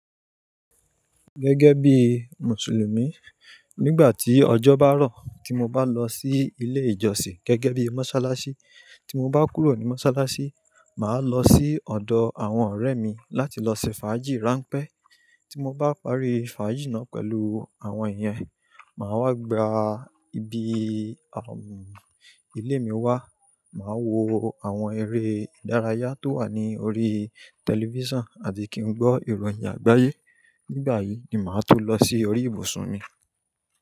Gẹ́gẹ́ bí Mùsùlùmí, nígbà tí ọjọ́ bá rọ̀, tí mo bá lọ sí ilé ìjọsìn, gẹ́gẹ́ bí Mọ́sálásí, tí mo bá kúrò ní Mọ́sálásí, màá lọ sí ọ̀dọ̀ àwọn ọ̀rẹ́ mi láti lọ ṣe fàájì ráńpẹ́. Tí mo bá parí fàájì náà pẹ̀lú àwọn yẹn, màá wá gba ibi, àm, ilé mi wá, màá wo àwọn eré ìdárayá tó wà ní orí tẹlifíṣàn àti kí n gbọ́ ìròyìn àgbáyé. Nígbà yìí ni màá to lọ sí orí ìbùsùn mi.